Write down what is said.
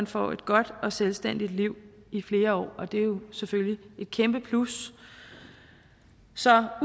får et godt og selvstændigt liv i flere år og det er jo selvfølgelig et kæmpe plus så